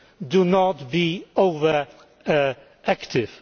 Do not be over active.